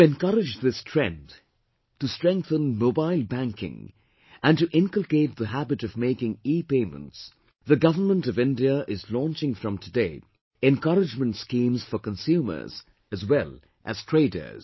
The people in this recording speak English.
To encourage this trend, to strengthen mobile banking and to inculcate the habit of making epayments, the Government of India is launching from today encouragement schemes for consumers as well as traders